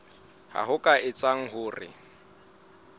ha ho ka etseha hore